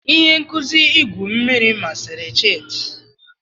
Ihe nkuzi igwu mmiri masịrị Chidi.